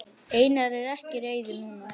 Einar er ekki reiður núna.